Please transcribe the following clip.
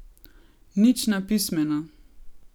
Nič na pismeno!